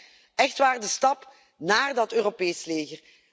Voor mij echt waar de stap naar een Europees leger.